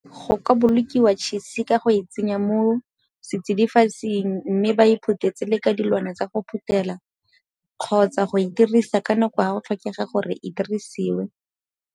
Go ka bolokiwa tšhise ka go e tsenya mo setsidifatsing mme ba iphuthetse le ka dilwana tsa go phuthela kgotsa go e dirisa ka nako ga go tlhokega gore e dirisiwe.